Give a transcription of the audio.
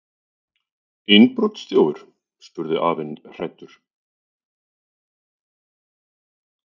Innbrotsþjófur? spurði afinn hræddur.